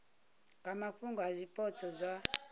nga mafhungo a zwipotso zwa